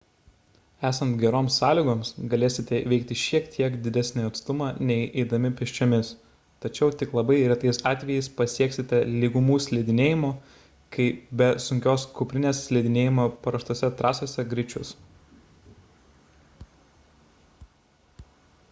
esant geroms sąlygoms galėsite įveikti šiek tiek didesnį atstumą nei eidami pėsčiomis tačiau tik labai retais atvejais pasieksite lygumų slidinėjimo kai be sunkios kuprinės slidinėjama paruoštose trasose greičius